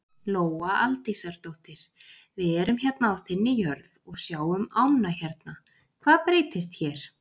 Lóa Aldísardóttir: Við erum hérna á þinni jörð og sjáum ánna hérna, hvað breytist hér?